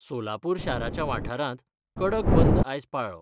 सोलापूर शाराच्या वाठारांत कडक बंद आयज पाळ्ळो.